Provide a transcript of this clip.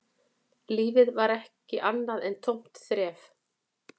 Lífið var ekki annað en tómt þref